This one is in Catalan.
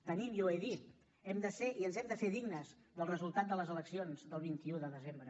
tenim ja ho he dit hem de ser i ens hem de fer dignes del resultat de les eleccions del vint un de desembre